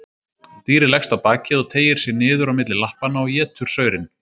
Dýrið leggst á bakið og teygir sig niður á milli lappanna og étur saurinn.